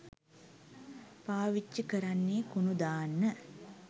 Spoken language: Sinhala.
පාවිච්චි කරන්නෙ කුණු දාන්න.